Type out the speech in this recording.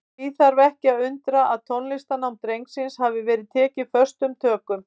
Því þarf ekki að undra að tónlistarnám drengsins hafi verið tekið föstum tökum.